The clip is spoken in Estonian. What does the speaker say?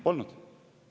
Polnud!